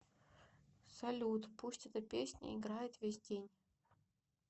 салют пусть эта песня играет весь день